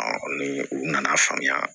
ni u nana faamuya